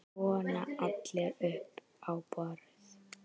Svona allir upp á borð